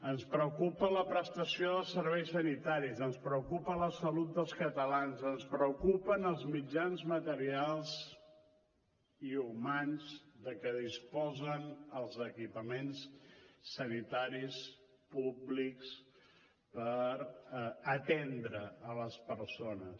ens preocupa la prestació dels serveis sanitaris ens preocupa la salut dels catalans ens preocupen els mitjans materials i humans de què disposen els equipaments sanitaris públics per atendre les persones